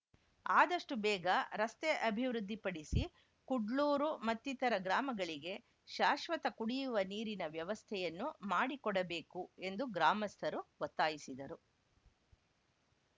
ಆದಷ್ಟುಬೇಗ ರಸ್ತೆ ಅಭಿವೃದ್ಧಿಪಡಿಸಿ ಕುಡ್ಲೂರು ಮತ್ತಿತರರ ಗ್ರಾಮಗಳಿಗೆ ಶಾಶ್ವತ ಕುಡಿಯುವ ನೀರಿನ ವ್ಯವಸ್ಥೆಯನ್ನು ಮಾಡಿಕೊಡಬೇಕು ಎಂದು ಗ್ರಾಮಸ್ಥರು ಒತ್ತಾಯಿಸಿದರು